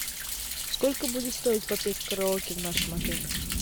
сколько будет стоить попеть в караоке в нашем отеле